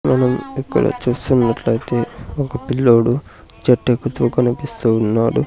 మనం ఇక్కడ చూస్తున్నట్లైతే ఒక పిల్లోడు చెట్టెక్కుతూ కనిపిస్తూ ఉన్నాడు.